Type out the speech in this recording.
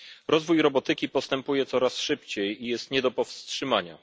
Rozwój robotyki postępuje coraz szybciej i jest nie do powstrzymania.